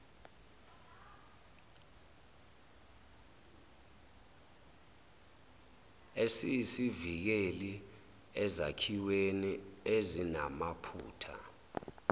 esiyisivikeli ezakhiweni ezinamaphutha